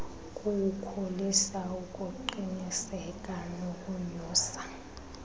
kuwukhulisa ukuqiniseka nokonyusa